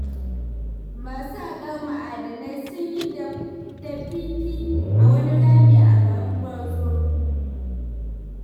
Masu haƙar ma'adanai sun yi dafifi a wani rami a garin Gwarzo.